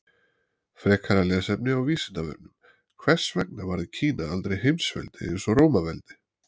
Frekara lesefni á Vísindavefnum: Hvers vegna varð Kína aldrei heimsveldi eins og Rómaveldi?